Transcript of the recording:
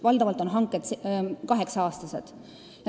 Valdavalt on hanked tehtud kaheksaks aastaks.